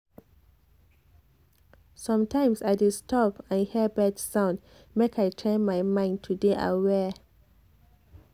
sometimes i dey stop and hear bird sound make i train my mind to dey aware